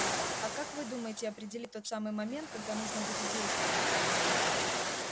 а как вы думаете определи тот самый момент когда нужно будет действовать